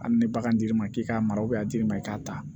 Hali ni bagan d'i ma k'i k'a mara a dir'i ma i k'a ta